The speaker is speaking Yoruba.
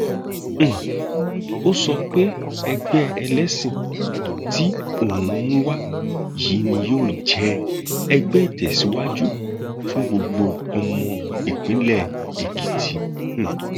um ó sọ pé ẹgbẹ ẹlẹsìn tí òun mú wá yìí ni yóò jẹ ẹgbẹ ìtẹsíwájú fún gbogbo ọmọ ìpínlẹ èkìtì um